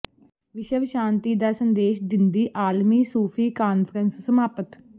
ਵਿਸ਼ਵ ਸ਼ਾਂਤੀ ਦਾ ਸੰਦੇਸ਼ ਦਿੰਦੀ ਆਲਮੀ ਸੂਫ਼ੀ ਕਾਨਫ਼ਰੰਸ ਸਮਾਪਤ